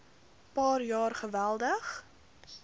paar jaar geweldig